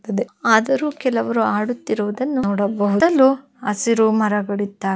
ಆದರೂ ಕೆಲವರು ಆಡುತ್ತಿರುವುದನ್ನು ನೋಡಬಹುದು ಸುತ್ತಲೂ ಹಸಿರು ಮರಗಳು ಇದ್ದಾಗಿದೆ.